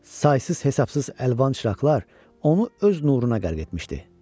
Saysız-hesabsız əlvan çiraqlar onu öz nuruna qərq etmişdi.